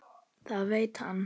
Það veit hann.